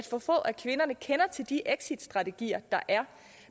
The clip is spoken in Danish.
for få af kvinderne kender til de exitstrategier der er